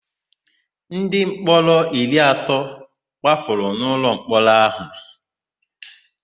Ndịmkpọrọ iri atọ gbapụrụ n'ụlọmkpọrọ áhụ̀.